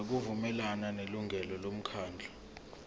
ngokuvumelana nelungu lomkhandlu